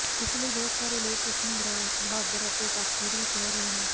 ਇਸ ਲਈ ਬਹੁਤ ਸਾਰੇ ਲੋਕ ਉਸਨੂੰ ਬਹਾਦਰ ਅਤੇ ਤਾਕਤਵਰ ਵੀ ਕਹਿ ਰਹੇ ਹਨ